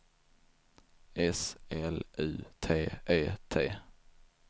S L U T E T